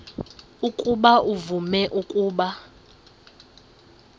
ukuba uvume ukuba